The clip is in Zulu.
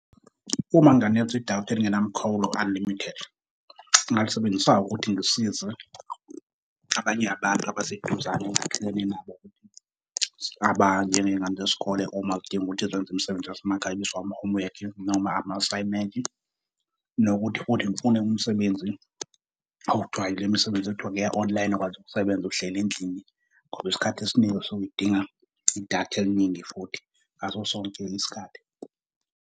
Uma nginganikezwa idatha eligenamkhawulo, unlimited, ngingalisebenzisa ngokuthi ngisize abanye abantu abaseduzane engakhelene nabo ukuthi abanjengezingane zesikole uma kudinga ukuthi zenze imisebenzi yasemakhaya, ama-homework noma ama-assignment. Nokuthi futhi ngifune umsebenzi, okuthiwa ilemisebenzi ekuthiwa ngeya-online, ukwazi ukusebenzisa uhleli endlini ngoba isikhathi esiningi isuke idinga idatha eliningi futhi ngaso sonke isikhathi.